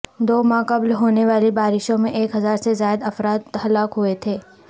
دو ماہ قبل ہونے والی بارشوں میں ایک ہزار سے زائد افراد ہلاک ہوئے تھے